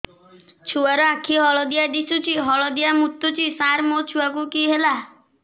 ଛୁଆ ର ଆଖି ହଳଦିଆ ଦିଶୁଛି ହଳଦିଆ ମୁତୁଛି ସାର ମୋ ଛୁଆକୁ କି ହେଲା